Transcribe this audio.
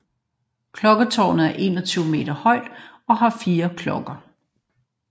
Klokketårnet er 21 meter højt og har fire klokker